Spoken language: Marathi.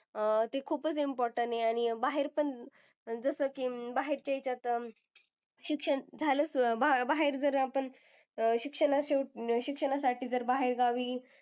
अं ते खूपच important आहे. आणि बाहेर पण जसं की बाहेरच्या ह्याच्यात अं शिक्षण झालं. बाहेर-बाहेर जर आपण शिक्षणा शिक्षणासाठी जर बाहेर गावी,